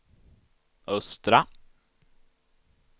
östra